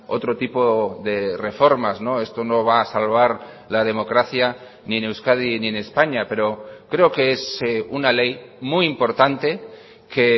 otro tipo de reformas esto no va a salvar la democracia ni en euskadi ni en españa pero creo que es una ley muy importante que